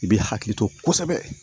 I b'i hakili to kosɛbɛ